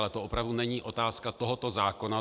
Ale to opravdu není otázka tohoto zákona.